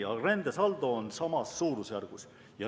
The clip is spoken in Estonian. Rändesaldo on samas suurusjärgus.